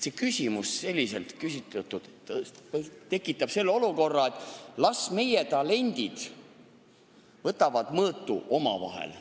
See küsimus selliselt küsitult tekitaks arusaama, et las meie talendid võtavad mõõtu omavahel.